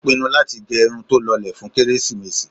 Ó pinnu láti gẹ irun tó lọlẹ̀ fún kérésìmesì.